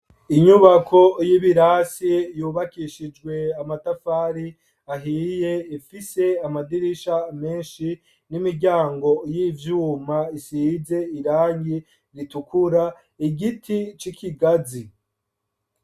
Inyubako y' ibirasi yubakishijwe amatafari ahiye, ifise amadirisha menshi n' imiryango y' ivyuma isize irangi ritukura, igiti c' ikigazi.